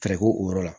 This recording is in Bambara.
Kariko o yɔrɔ la